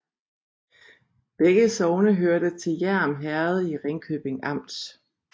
Begge sogne hørte til Hjerm Herred i Ringkøbing Amt